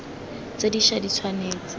tse di ša di tshwanetse